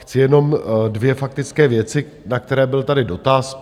Chci jenom dvě faktické věci, na které byl tady doraz.